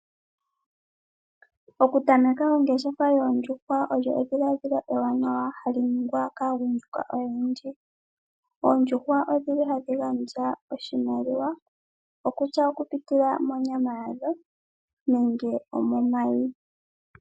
Okutameka ongeshefa yoondjuhwa olyo edhiladhilo ewanawa hali ningwa kaagundjuka oyendji. Oondjuhwa odhili hadhi gandja oshimaliwa okutya okupitila monyama yadho nenge omomayi.